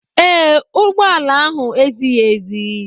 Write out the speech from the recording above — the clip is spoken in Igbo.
Ee, ụgbọ ala ahụ ezighi ezi.